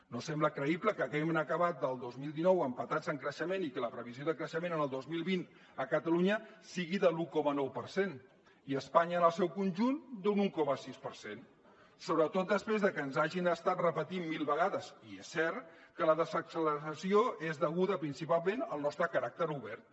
no sembla creïble que hàgim acabat el dos mil dinou empatats en creixement i que la previsió de creixement en el dos mil vint a catalunya sigui de l’un coma nou per cent i a espanya en el seu conjunt d’un un coma sis per cent sobretot després de que ens hagin estat repetint mil vegades i és cert que la desacceleració és deguda principalment al nostre caràcter obert